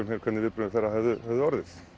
mér hvernig viðbrögð þeirra hefðu orðið